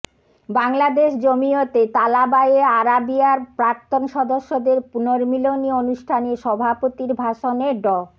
বাংলাদেশ জমিয়তে তালাবায়ে আরাবিয়ার প্রাক্তন সদস্যদের পুনর্মিলনী অনুষ্ঠানে সভাপতির ভাষণে ড